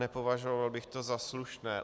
Nepovažoval bych to za slušné.